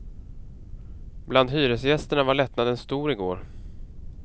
Bland hyresgästerna var lättnaden stor i går.